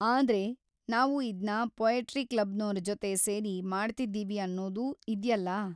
ಆದ್ರೆ, ನಾವು ಇದ್ನ ಪೋಯಟ್ರಿ ಕ್ಲಬ್‌ನೋರ ಜೊತೆ ಸೇರಿ ಮಾಡ್ತಿದ್ದೀವಿ ಅನ್ನೋದೂ ಇದ್ಯಲ್ಲ.